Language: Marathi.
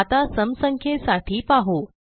आता सम संख्येसाठी पाहू